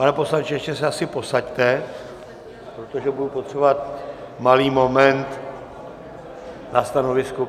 Pane poslanče, ještě se asi posaďte, protože budu potřebovat malý moment na stanovisko.